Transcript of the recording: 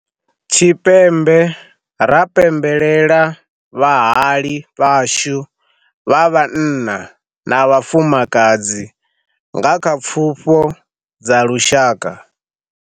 Tshipembe ra pembelela vhahali vhashu vha vhanna na vhafumakadzi nga kha Pfufho dza Lushaka.